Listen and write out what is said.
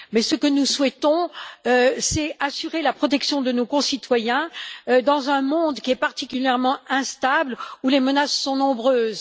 Ce que nous souhaitons, c'est assurer la protection de nos concitoyens dans un monde qui est particulièrement instable et où les menaces sont nombreuses.